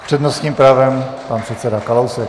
S přednostním právem pan předseda Kalousek.